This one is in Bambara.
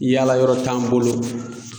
Yala yɔrɔ t'an bolo